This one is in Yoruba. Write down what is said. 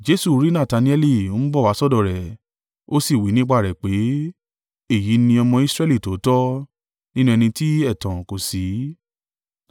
Jesu rí Natanaeli ń bọ̀ wá sọ́dọ̀ rẹ̀, ó sì wí nípa rẹ̀ pé, “Èyí ni ọmọ Israẹli tòótọ́, nínú ẹni tí ẹ̀tàn kò sí.”